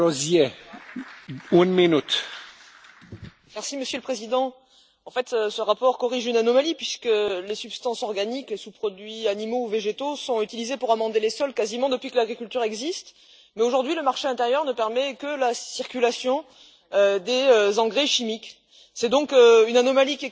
Monsieur le Président, en fait, ce rapport corrige une anomalie, puisque les substances organiques et sous produits animaux ou végétaux sont utilisés pour amender les sols quasiment depuis que l'agriculture existe, mais aujourd'hui, le marché intérieur ne permet que la circulation des engrais chimiques. C'est donc une anomalie qui est corrigée et un vrai pas supplémentaire pour l'économie circulaire que